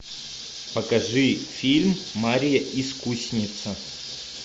покажи фильм марья искусница